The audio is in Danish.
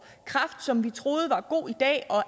kræft som vi troede var god i dag og